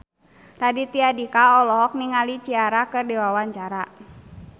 Raditya Dika olohok ningali Ciara keur diwawancara